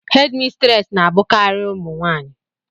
hédmistrés na-abụkarị ụmụ nwanyị